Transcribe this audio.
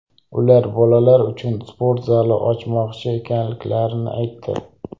Ular bolalar uchun sport zali ochmoqchi ekanliklarini aytdi.